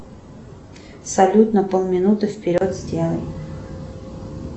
салют на пол минуты вперед сделай